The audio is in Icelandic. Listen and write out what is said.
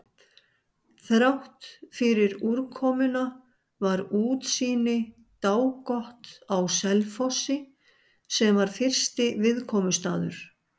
Þráttfyrir úrkomuna var útsýni dágott á Selfossi, sem var fyrsti viðkomustaður.